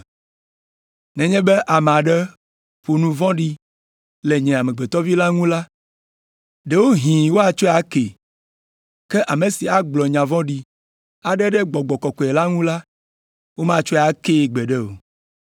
Nenye be ame aɖe ƒo nu vɔ̃ɖi le nye Amegbetɔ Vi la ŋu la, ɖewohĩ woatsɔe akee, ke ame si agblɔ nya vɔ̃ɖi aɖe ɖe Gbɔgbɔ Kɔkɔe la ŋu la, womatsɔe akee gbeɖe o.